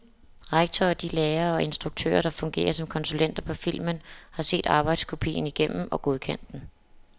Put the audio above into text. Rektor og de lærere og instruktører, der fungerer som konsulenter på filmen, har set arbejdskopien igennem og godkendt den.